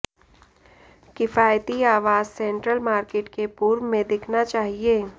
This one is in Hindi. किफायती आवास सेंट्रल मार्केट के पूर्व में दिखना चाहिए